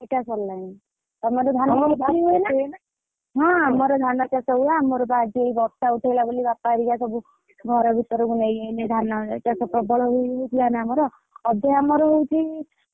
ପିଟା ସରିଲାଣି। ହଁ ଆମର ଧାନ ଚାଷ ହୁଏ। ଆମର ବା ଆଜି ଏଇ ବର୍ଷା ଉଠେଇଲା ବୋଲି ବାପା ହରିକା ସବୁ ଘର ଭିତରକୁ ନେଇଆଇଲେ ଧାନ ଚାଷ ପ୍ରବଳ ହେଇଯାଇଥିଲା ନା ଆମର ଅଧେ ଆମର ହଉଛି ।